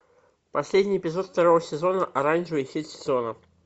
последний эпизод второго сезона оранжевый хит сезона